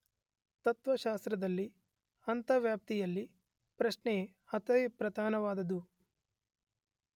ತತ್ತ್ವಶಾಸ್ತ್ರದಲ್ಲಿ ಅಂತರ್ವ್ಯಾಪ್ತಿ ಪ್ರಶ್ನೆ ಅತಿ ಪ್ರಧಾನವಾದುದು.